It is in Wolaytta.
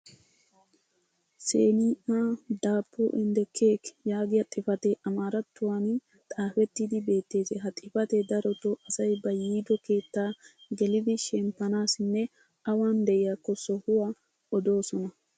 "senia dabo and keki" yaagiya xifatee amaarattuwan xaafettidi beettees. ha xifatee darotoo asay ba yiido keettaa gelidi shemppanaassinne awan diyaakko sohuwaa odoosona.